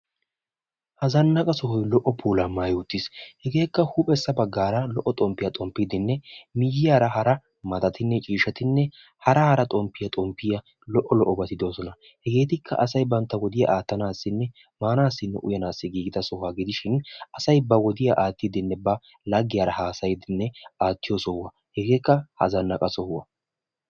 Ha zanaqqa sohoy lo"o puulaa maayi uttiis. Hegeekka huphphessa baggaara lo"o xomppiyaa xomppiidinne miyiyaara hara malattinne ciishshatinne hara hara xomppiya xomppiya lo"o lo'obati de'oosona. Hegeetikka asay bantta wodiya attanaassinne maanaassinne uyanaaessi giiggida sohuwa gidishin asay ba wodiya aattidinne ba laggiyaara haasayiydinne attiyo sohuwa, hegeekka ha zanaqqa sohuwa.